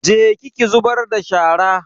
Je ki ki zubar da shara.